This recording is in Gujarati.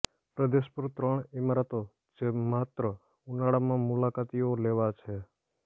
પ્રદેશ પર ત્રણ ઇમારતો જે માત્ર ઉનાળામાં મુલાકાતીઓ લેવા છે